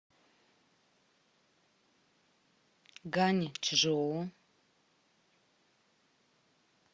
ганьчжоу